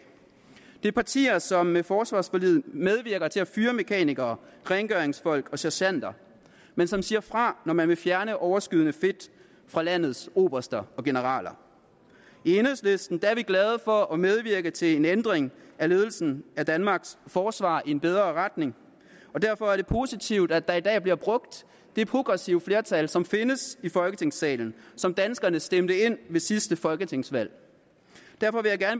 det er partier som med forsvarsforliget medvirker til at fyre mekanikere rengøringsfolk og sergenter men som siger fra når man vil fjerne overskydende fedt fra landets oberster og generaler i enhedslisten er vi glade for at medvirke til en ændring af ledelsen af danmarks forsvar i en bedre retning og derfor er det positivt at der i dag bliver brugt det progressive flertal som findes i folketingssalen og som danskerne stemte ind ved sidste folketingsvalg derfor